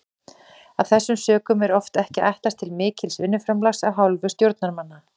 Af þessum sökum er oft ekki ætlast til mikils vinnuframlags af hálfu stjórnarmanna.